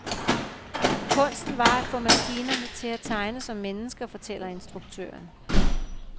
Kunsten var at få maskinerne til at tegne som mennesker, fortæller instruktøren.